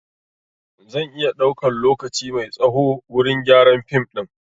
Zan iya ɗaukan lokaci mai tsaho wurin gyaran fim ɗin